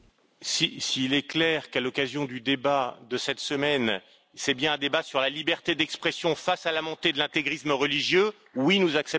S'il est clair qu'à l'occasion du débat de cette semaine, nous aurons bien un débat sur la liberté d'expression face à la montée de l'intégrisme religieux, alors oui, nous acceptons.